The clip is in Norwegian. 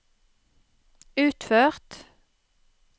utført